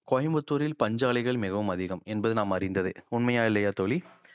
கோயம்புத்தூரில் பஞ்சாலைகள் மிகவும் அதிகம் என்பது நாம் அறிந்ததே உண்மையா இல்லையா தோழி